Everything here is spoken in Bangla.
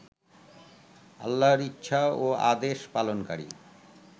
আল্লাহর ইচ্ছা ও আদেশ পালনকারী